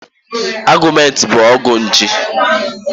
Augmentin bụ ọgwụ nje.